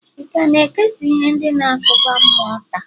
ị ka na-ekesa ihe ndị na-akụda mmụọ taa?